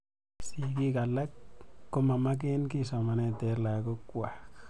Sigik alak ko ma maken ki somanet ap lagok kwak.